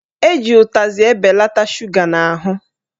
Eji utazị ebelata shuga n'ahụ